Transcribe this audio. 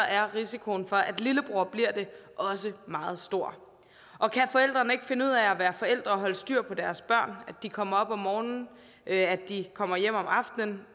er risikoen for at lillebror bliver det også meget stor og kan forældrene ikke finde ud af at være forældre og holde styr på deres børn altså de kommer op om morgenen og at de kommer hjem om aftenen